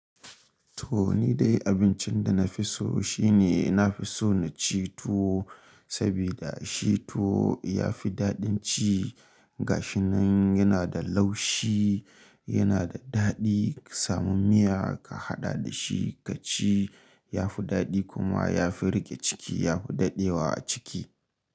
To ni dai abincin da na fi so shine nafi so na ci tuwo, saboda shi tuwo ya fi daɗin ci, gashinan yana da laushi, yana da daɗi ka samu miya ka haɗa da shi ka ci ya fi daɗi kuma ya fi riƙe ciki, ya fi daɗewa a ciki.